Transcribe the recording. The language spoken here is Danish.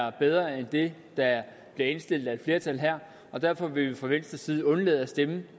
er bedre end det der bliver indstillet af et flertal her og derfor vil vi fra venstres side undlade at stemme